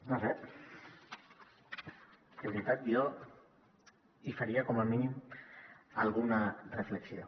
no ho sé de veritat jo hi faria com a mínim alguna reflexió